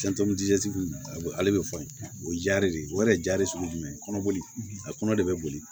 ale bɛ fɔ o ye ja de ye o yɛrɛ jari sugu jumɛn kɔnɔ boli a kɔnɔ de be boli